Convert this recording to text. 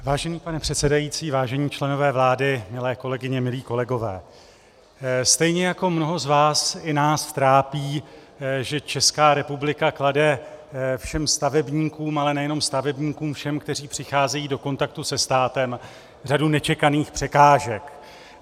Vážený pane předsedající, vážení členové vlády, milé kolegyně, milí kolegové, stejně jako mnohé z vás i nás trápí, že Česká republika klade všem stavebníkům, ale nejenom stavebníkům, všem, kteří přicházejí do kontaktu se státem, řadu nečekaných překážek.